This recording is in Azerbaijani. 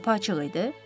Qapı açıq idi.